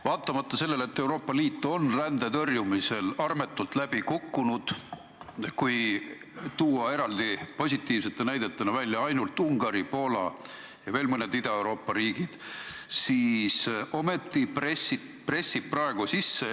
Vaatamata sellele, et Euroopa Liit on rände tõrjumisel armetult läbi kukkunud – eraldi positiivsete näidetena saab välja tuua ainult Ungari, Poola ja veel mõned Ida-Euroopa riigid –, pressib see praegu ikkagi peale.